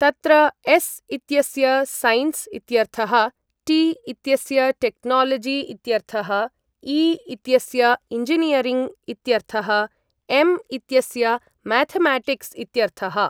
तत्र एस् इत्यस्य सैन्स् इत्यर्थः टि इत्यस्य टेक्नोलजि इत्यर्थः इ इत्यस्य इञ्जिनियरिङ्ग् इत्यर्थः एम् इत्यस्य मैथमेटिक्स् इत्यर्थः ।